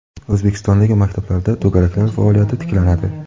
O‘zbekistondagi maktablarda to‘garaklar faoliyati tiklanadi.